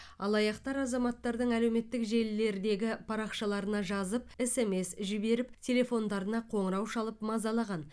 алаяқтар азаматтардың әлеуметтік желілердегі парақшаларына жазып смс жіберіп телефондарына қоңырау шалып мазалаған